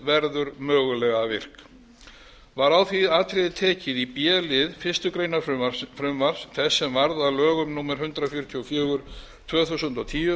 verður mögulega virk var á því atriði tekið í b lið fyrstu grein frumvarps þess sem varð að lögum númer hundrað fjörutíu og fjögur tvö þúsund og tíu